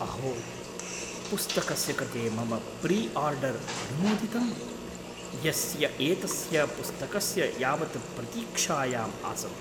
अहो! पुस्तकस्य कृते मम प्रि आर्डर् अनुमोदितम्। यस्य एतस्य पुस्तकस्य यावत् प्रतीक्षायाम् आसम्।